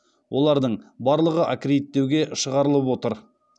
олардың барлығы аккредиттеуге шығарылып отыр